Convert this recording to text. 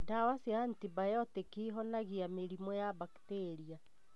Ndawa cia antibiotic ihonagia mĩrimũ wa mbakteria